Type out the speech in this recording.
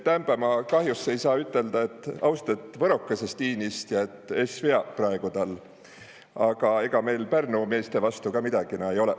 Täämpä ma kahjus ei saa üteldä, et austet võrokõsest iinistja, sest es vea praegu tal, aga ega meil midägi Pärnu meeste vasta kah ei olõ.